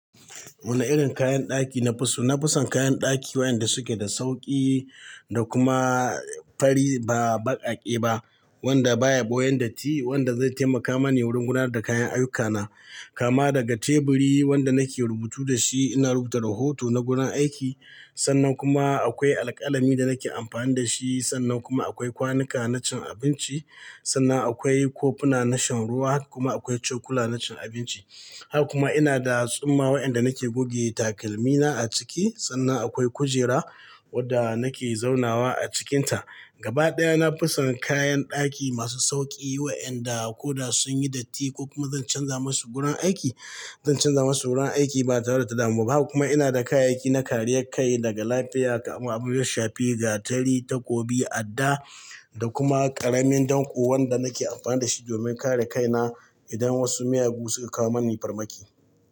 Wane irin kayan ɗaki na fi so? Na fi son kayan ɗaki waƴanda suke da sauƙi da kuma fari ba baƙaƙe ba wanda baya ɓoyan datti. Wanda zai taimaka mani wurin gudanar da kayan ayyukana. Kama daga teburi wanda nake rubutu da shi ina rubuta rahoto na gurin aiki. Sannan kuma akwai alƙalami da nake amfani da shi. Sannan kuma akwai kwanuka na cin abinci. Sannan akwai kofuna na shan ruwa kuma akwai cokula na cin abinci. Haka kuma ina da tsumma waƴanda nake goge takalmina a ciki. Sannan akwai kujera wadda nake zaunawa a cikinta. Gaba ɗaya na fi son kayan ɗaki masu sauƙi waƴanda ko da sun yi datti ko kuma zan canza masu gurin aiki, zan canza masu gurin aiki ba tare da wata damuwa ba. Haka kuma ina da kayayyaki na kariya kai daga lafiya kamar abinda ya shafi, gatari, takobi, adda da kuma ƙaramin danƙo wanda nake amfani da shi domin kare kaina idan wasu miyagu suka kawo mani farmaki.